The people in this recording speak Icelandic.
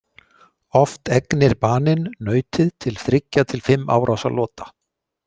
Oft egnir baninn nautið til þriggja til fimm árásarlota.